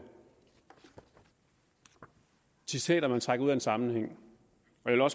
er citater de trækker ud af en sammenhæng